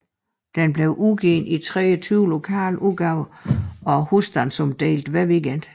Den blev udgivet i 23 lokale udgaver og husstandsomdeles hver weekend